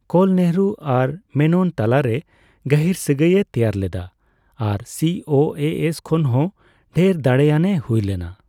ᱠᱳᱞ ᱱᱮᱦᱮᱨᱩ ᱟᱨ ᱢᱮᱱᱚᱱ ᱛᱟᱞᱟᱨᱮ ᱜᱟᱹᱦᱤᱨ ᱥᱟᱹᱜᱟᱹᱭ ᱮ ᱛᱮᱭᱟᱨ ᱞᱮᱫᱟ ᱟᱨ ᱥᱤᱹ ᱳᱹᱮᱹ ᱮᱥᱼᱠᱷᱚᱱ ᱦᱚᱸ ᱰᱷᱮᱨ ᱫᱟᱲᱮᱭᱟᱱ ᱮ ᱦᱩᱭ ᱞᱮᱱᱟ ᱾